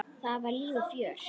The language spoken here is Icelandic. Þar var líf og fjör.